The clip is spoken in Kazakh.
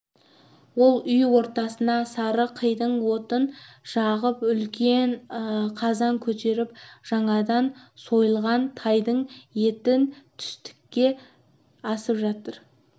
ол үй ортасына сары қидың отын жағып үлкен қазан көтеріп жаңадан сойылған тайдың етін түстікке асып жатыр